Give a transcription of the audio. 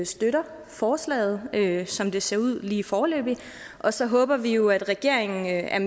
støtter forslaget som det ser ud lige foreløbigt og så håber vi jo at regeringen er